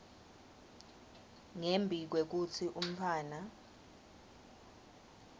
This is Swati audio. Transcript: ngembi kwekutsi umntfwana